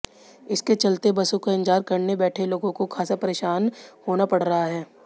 इसके चलते बसों का इंतजार करने बैठे लोगों को खासा परेशान होना पड़ रहा है